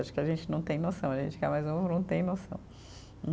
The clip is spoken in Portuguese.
Acho que a gente não tem noção, a gente que é mais novo não tem noção.